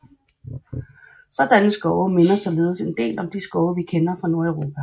Sådanne skove minder således en del om de skove vi kender fra Nordeuropa